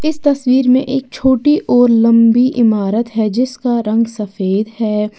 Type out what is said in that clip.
इस तस्वीर में एक छोटी और लंबी इमारत है जिसका रंग सफेद है।